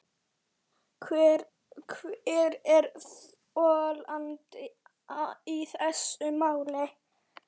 Hver er þolandinn í þessu máli.